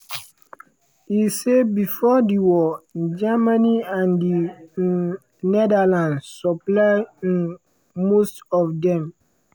e say bifor di war germany and di um netherlands supply um most of dem.